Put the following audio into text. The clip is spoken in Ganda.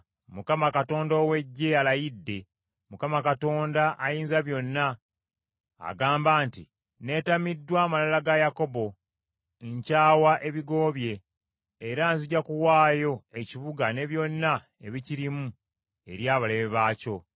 Mukama Katonda ow’Eggye alayidde, Mukama Katonda Ayinzabyonna agamba nti, “Neetamiddwa amalala ga Yakobo, nkyawa ebigo bye, era nzija kuwaayo ekibuga ne byonna ebikirimu eri abalabe baakyo.”